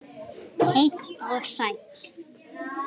Heill og sæll!